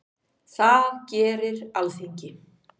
Það gerir Alþingi.